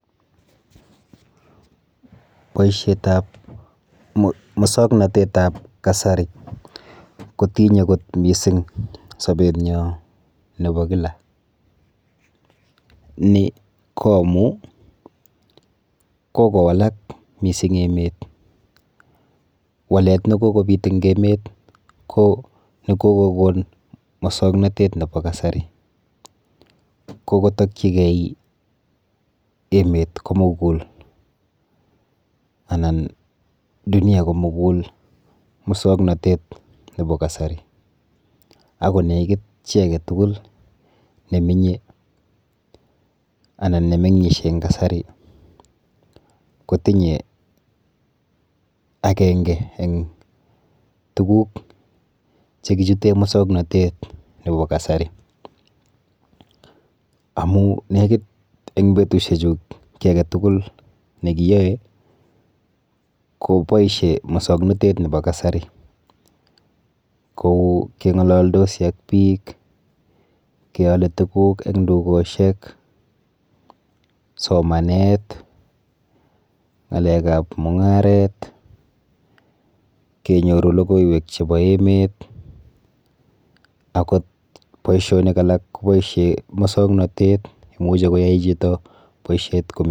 Boishetap musoknotetap kasari kotinye kot mising sobenyo nepo kila, ni ko amu kokowalak mising emet. Walet nekokobit eng emet ko nekokokon mosoknotet nepo kasari, kokotokchigei emet komugul anan dunia komugul musoknotet nepo kasari ako nekit chi aketugul neminye anan nemeng'ishe eng kasari kotinye akenge eng tuguk chekichute musoknotet nepo kasari amu nekit eng betushechu kiy aketugul nekiyoe koboishe musoknotet nepo kasari kou keng'ololdosi ak biik, keole tuguk eng dukoshek, somanet, ng'alekap mung'aret, kenyoru logoiwek chepo emet , akot boishonik alak koboishe musoknotet, imuchi koyai chito boishet komi...